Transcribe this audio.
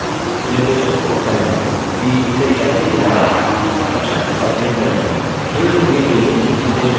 खेल की शुरुवात करने से पहले निर्देशों को पढ़ लें कि इसे कैसे खेला जाए instructions पर क्लिक करें